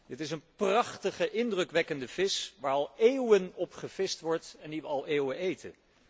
Dit is een prachtige, indrukwekkende vis, waar al eeuwen op gevist wordt en die wij al eeuwen eten.